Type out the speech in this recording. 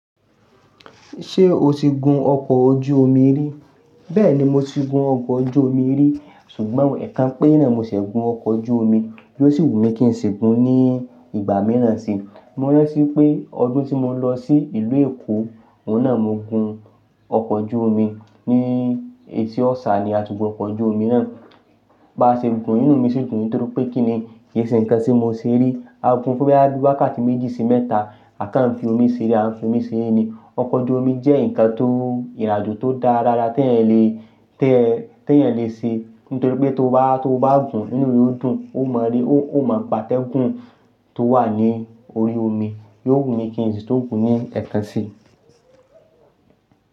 Ṣé o ti gun ọkọ̀ ojú omi rí? Bẹ́ẹ̀ni mo ti gun ọkọ̀ ojú omi rí ṣùgbọ́n ẹ̀kan pére ni mosẹ́ gun ọkọ̀ ojú omi yóò sì wù mí kí n sì gun ní ìgbà mìíràn si. Mo rántí pé ọdún tí mo lọ sí ìlú Èkó, òun náà mo gun ọkọ̀ ojú omi ní ètì Ọ̀ṣà ni ati gun ọkọ̀ ojú omi náà. Bá ṣe gun yí un inú mi sì dùn ni torí pé kí ni kì í ṣe nǹkan tí mo ṣe rí. A gun fún boya bi wákàtí méjì sí mẹ́ta a kàn fi omi sere, a ń fi omi sere ni. Ọkọ̀ ojú omi jẹ́ nǹkan tó ìrin ajo tó dáa lára tí ẹ̀eyan lè, tí ẹ̀, tí ẹ̀eyan lè ṣe nítorí pé tó bá, tó bá gun inú re ó dùn, ó máa rí, ó máa gba tẹ́gun tó wà ní orí omi, yóò wù mí kí n sì tun gun ní ẹ̀kan si.